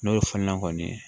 N'o ye funɛnen kɔni ye